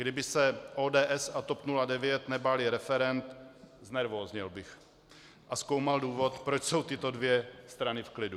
Kdyby se ODS a TOP 09 nebály referend, znervózněl bych a zkoumal důvod, proč jsou tyto dvě strany v klidu.